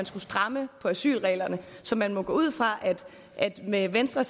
stramme på asylreglerne så man må gå ud fra at med venstre